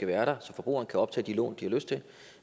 være der så forbrugerne kan optage de lån de har lyst til